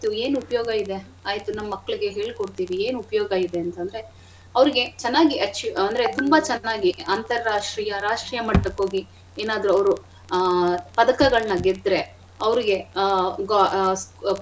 ಏನ್ ಉಪ್ಯೋಗ ಇದೆ ಆಯ್ತು ನಮ್ ಮಕ್ಳಿಗೆ ಹೇಳ್ಕೊಡ್ತೀವಿ ಏನ್ ಉಪ್ಯೋಗ ಇದೆ ಅಂತ್ ಅಂದ್ರೆ ಅವ್ರಿಗೆ ಚೆನ್ನಾಗಿ ಅಚಿ ಅಂದ್ರೆ ತುಂಬಾ ಚೆನ್ನಾಗಿ ಅಂತರಾಷ್ಟ್ರೀಯ ರಾಷ್ಟ್ರೀಯ ಮಟ್ಟಕ್ಕೆ ಹೋಗಿ ಏನಾದ್ರೂ ಅವ್ರು ಆ ಪದಕಗಳನ್ನ ಗೆದ್ರೆ ಅವ್ರಿಗೆ ಆ.